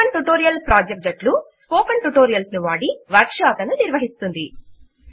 spoken tutorial project జట్లు spoken tutorials ను వాడి వర్క్ షాప్ లను నిర్వహిస్తుంది